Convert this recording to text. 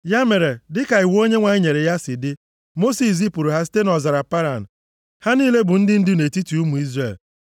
Ya mere, dịka iwu Onyenwe anyị nyere ya si dị, Mosis zipụrụ ha site nʼọzara Paran. Ha niile bụ ndị ndu nʼetiti ụmụ Izrel.